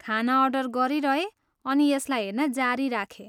खाना अर्डर गरिरहेँ अनि यसलाई हेर्न जारी राखेँ।